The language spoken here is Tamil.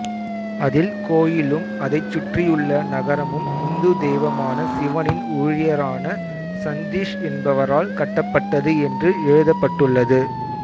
அதில் கோயிலும் அதைச் சுற்றியுள்ள நகரமும் இந்து தெய்வமான சிவனின் ஊழியரான சந்தீஷ் என்பவரால் கட்டப்பட்டது என்று எழுதப்பட்டுள்ளது